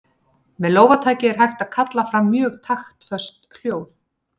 Með lófataki er hægt að kalla fram mjög taktföst hljóð.